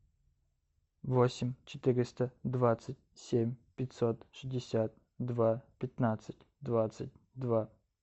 восемь четыреста двадцать семь пятьсот шестьдесят два пятнадцать двадцать два